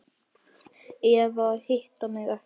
Eða hitti mig ekki.